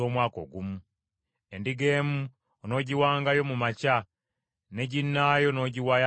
Endiga emu onoogiwangayo mu makya, ne ginnaayo n’ogiwaayo akawungeezi.